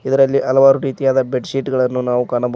ಇದರಲ್ಲಿ ಹಲವಾರು ರೀತಿಯಾದ ಬೆಡ್ ಶೀಟ್ ಗಳನ್ನು ನಾವು ಕಾಣಬಹು--